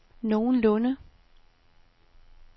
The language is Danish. nogenlunde